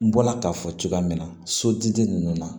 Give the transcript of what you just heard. N bɔla k'a fɔ cogoya min na soju ninnu na